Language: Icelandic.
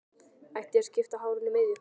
Ætti ég að skipta hárinu í miðju?